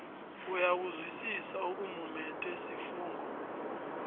uyakuzwisisa okumumethwe sifungo